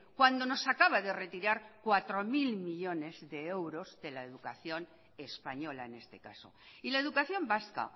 cuando nos acaba de retirar cuatro mil millónes de euros de la educación española en este caso y la educación vasca